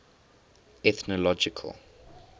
ethnological